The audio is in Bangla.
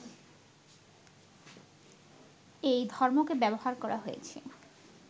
এই ধর্মকে ব্যবহার করা হয়েছে